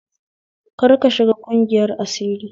Karka shiga ƙungiyar asiri